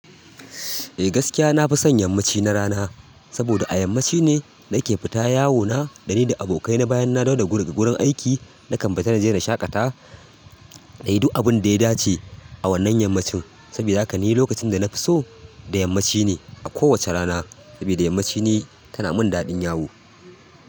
Eh gaskiya nafi son yammaci na rana, saboda a yammaci ne nake fita yawo na da ni da abokaina idan na dawo daga gurin aiki. Na kan fita na je na shaƙata na yi duk abunda ya dace a wannan yammacin. Sabida haka ni lokacin da na fi so da yammaci ne a kowacce rana, sabida yammaci ni tana mun daɗin yawo.